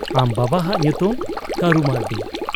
ᱟᱢ ᱵᱟᱵᱟ ᱦᱟᱜ ᱧᱩᱛᱩᱢ ? ᱠᱟᱹᱨᱩ ᱢᱟᱹᱨᱰᱤ ᱾'